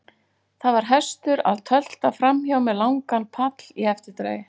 Það var hestur að tölta framhjá með langan pall í eftirdragi.